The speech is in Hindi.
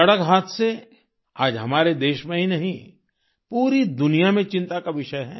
सड़क हादसे आज हमारे देश में ही नहीं पूरी दुनिया में चिंता का विषय हैं